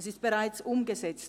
Sie ist bereits umgesetzt.